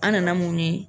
An nana mun ye